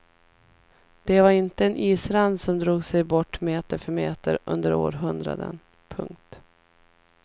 Det var inte en isrand som drog sig bort meter för meter under århundraden. punkt